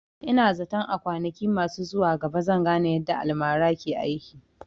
Ina zaton a kwanaki masu zuwa gaba zan gane yadda almara ke aiki